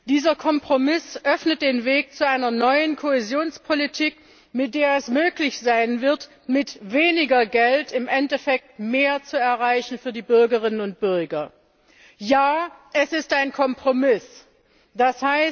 Dieser Kompromiss öffnet den Weg zu einer neuen Kohäsionspolitik, mit der es möglich sein wird, mit weniger Geld im Endeffekt mehr für die Bürgerinnen und Bürger zu erreichen. Ja, es ist ein Kompromiss, d.